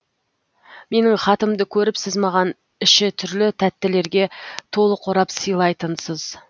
менің хатымды көріп сіз маған іші түрлі тәттілерге толы қорап сыйлайтынсыз